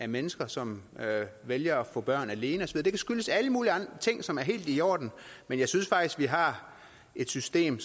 mennesker som vælger at få børn alene og så videre det kan skyldes alle mulige andre ting som er helt i orden men jeg synes faktisk vi har et system